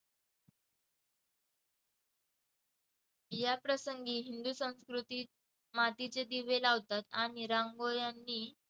याप्रसंगी हिंदू संस्कृतीत मातीचे दिवे लावतात आणि रांगोळी आणि~